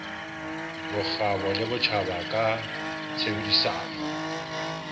bokgabo le botjhaba ka tshebedisano